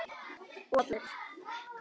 Og allir.